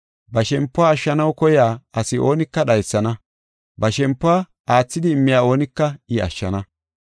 ba shempiw ashshanaw koyiya asi oonika dhaysana; ba shempiw aathidi immiya oonika I ashshana.